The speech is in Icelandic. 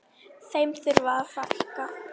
Þeim þurfi að fækka.